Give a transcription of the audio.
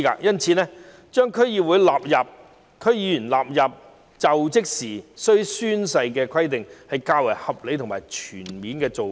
因此，規定區議員須在就職時宣誓，是較為合理和全面的做法。